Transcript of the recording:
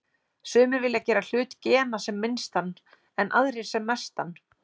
Sumir vilja gera hlut gena sem minnstan en aðrir sem mestan.